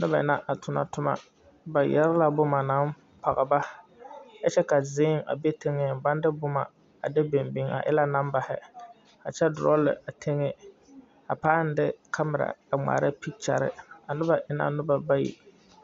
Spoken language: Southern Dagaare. Noba la a tona toma ba yɛre la boma naŋ pɔge ba kyɛ ka zēē a be teŋɛŋ baŋ de boma a de biŋ biŋ a e la nambahi kyɛ drɔlɛ a teŋɛ a pãâ de kamera a ŋmaara pekyare a noba e na noba bayi.